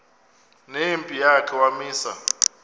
nempi yakhe wamisa